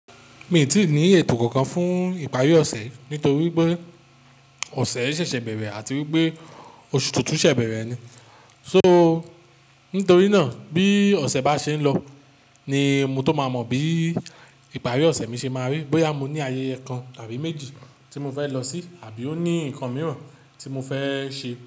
Mi ò tíì ní ètò kankan fún ìparí ọ̀sẹ̀ nítorí pé ọ̀sẹ̀ ṣẹ̀ṣẹ̀ bẹ̀rẹ̀ àti wípé oṣù tuntun ṣẹ̀ bẹ̀rẹ̀ ni, so nítorí náà bí ọ̀sẹ̀ bá ṣe ń lọ ni mo tó máa mọ bí ìparí ọ̀sẹ̀ mi ṣe máa rí, bóyá mo ní ayẹyẹ kan àbí méjì tí mo fẹ́ lọ sí àbí ó ní nǹkan mìíràn tí mo fẹ́ ṣe.